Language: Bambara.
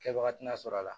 Kɛwagati tɛna sɔrɔ a la